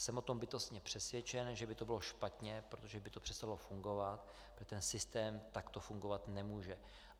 Jsem o tom bytostně přesvědčen, že by to bylo špatně, protože by to přestalo fungovat, protože ten systém takto fungovat nemůže.